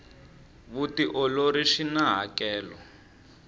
vutiolori swina hakelo